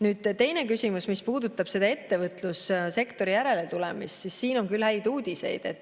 Nüüd, teine küsimus, mis puudutab ettevõtlussektori järeletulemist, siis siin on küll häid uudiseid.